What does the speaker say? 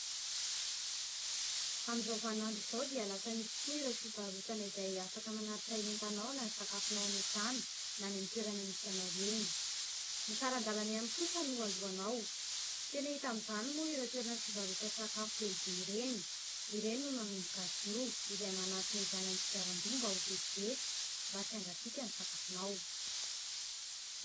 amin'izao vaninandro izao dia lasa misy tokoa ireo fivarotana izay afaka manatitra entanao na ny sakafonao any an-trano na any amin'ny toerana misy anao eny ny saran-dalana ihany kosa no alohanao tena hita amin'izany moa ireo toerana fivarotan-tsakafo lehibe ireny ireny no nanomboka azy io izay manaritra izany amin'ny kodiaran-droa mba ho vetivety mba tsy hangatsiaka ny sakafonao